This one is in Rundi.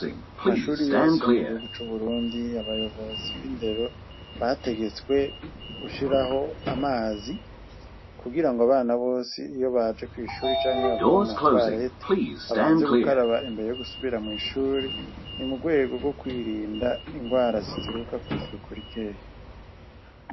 Kumashure yose yo mugihugu cuburundi abayobozi bindero bategetswe gushiraho amazi kugirango abana bose iyobaje kwishure canke bavuye muma toilette babanze gukaraba imbere yogusubira mwishure nimurwego gokwirinda indwara zituruka kw’isuku rikeya